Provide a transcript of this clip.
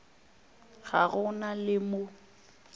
ga go na le mo